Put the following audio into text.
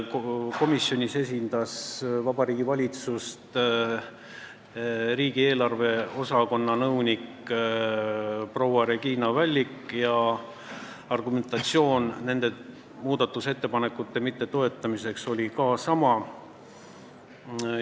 Komisjonis esindas Vabariigi Valitsust riigieelarve osakonna nõunik proua Regina Vällik ja argumentatsioon nende muudatusettepanekute mittetoetamiseks oli ka sama.